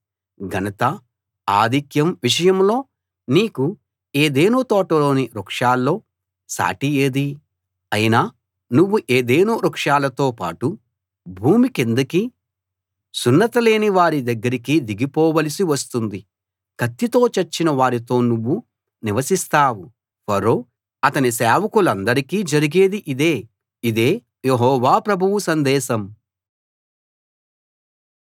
ఘనత ఆధిక్యం విషయంలో నీకు ఏదెను తోటలోని వృక్షాల్లో సాటి ఏది అయినా నువ్వు ఏదెను వృక్షాలతో పాటు భూమి కిందికి సున్నతిలేని వారి దగ్గరికి దిగిపోవలసి వస్తుంది కత్తితో చచ్చిన వారితో నువ్వు నివసిస్తావు ఫరో అతని సేవకులందరికీ జరిగేది ఇదే ఇదే యెహోవా ప్రభువు సందేశం